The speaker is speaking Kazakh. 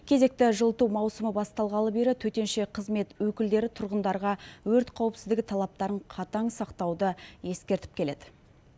кезекті жылыту маусымы басталғалы бері төтенше қызмет өкілдері тұрғындарға өрт қауіпсіздігі талаптарын қатаң сақтауды ескертіп келеді